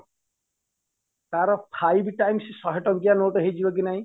ତାର five times ଶହେ ଟଙ୍କିଆ note ହେଇଯିବ କି ନାଇଁ